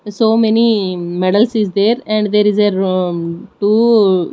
so many medals is there and there is a two --